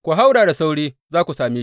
Ku haura da sauri, za ku same.